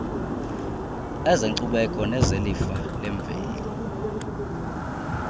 ezenkcubeko nezelifa lemveli